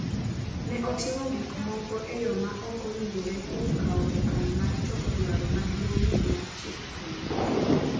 Ne otimo gik moko e yo ma ok owinjore kuom kawo okang’ mar chopo dwaro maduong’ni mar chik piny.